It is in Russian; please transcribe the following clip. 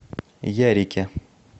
ярике